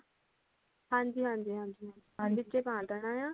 ਹਾਂਜੀ ਹਾਂਜੀ ਹਾਂਜੀ ਹਾਂਜੀ ਵਿਚੇ ਪਾ ਦੇਣਾ ਹੇਨਾ